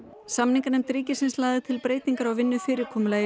samninganefnd ríkisins lagði til breytingar á vinnufyrirkomulagi